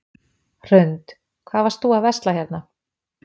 Hrund: Hvað varst þú að versla hérna?